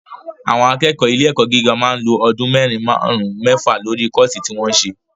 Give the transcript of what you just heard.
Àwọn akẹ́kọ̀ọ́ ilé ẹ̀kọ́ gíga máa ń lo ọdún mẹ́rin, máàrún, mẹ́fa lórí kọ́ọ̀sí tí wọ́n ń se